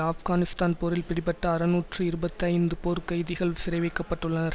ஆப்கானிஸ்தான் போரில் பிடிபட்ட அறுநூற்று இருபத்தி ஐந்து போர்கைதிகள் சிறைவைக்கப்பட்டுள்ளனர்